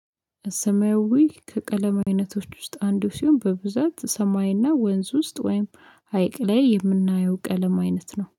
ሰማዊ ከቀለም አይነቶች ውስጥ አንዱ ሲሆን በብዛት ሰማይ እና ወንዝ ውስጥ ወይም ሀይቅ ላይ የምናየው ቀለም አይነት ነው